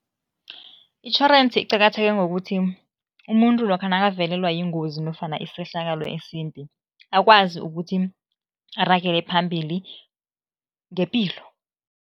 Itjhorensi iqakatheke ngokuthi, umuntu lokha nakavelelwa yingozi nofana isehlakalo esimbi, akwazi ukuthi aragele phambili ngepilo.